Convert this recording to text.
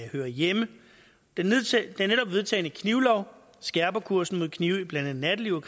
hører hjemme den netop vedtagne knivlov skærper kursen mod knive i blandt andet nattelivet